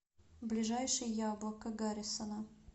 ближайший яблоко гаррисона